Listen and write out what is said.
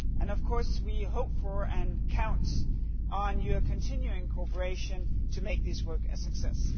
Of course we hope for, and count on, your continuing cooperation to make this work a success.